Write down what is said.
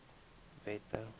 wette